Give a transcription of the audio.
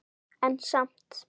En samt